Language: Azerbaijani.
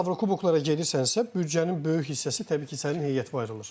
Avrokuboklara gedirsənsə, büdcənin böyük hissəsi təbii ki, sənin heyətə ayrılır.